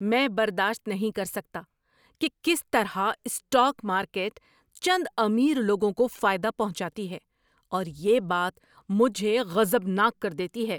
میں برداشت نہیں کر سکتا کہ کس طرح اسٹاک مارکیٹ چند امیر لوگوں کو فائدہ پہنچاتی ہے اور یہ بات مجھے غضبناک کر دیتی ہے۔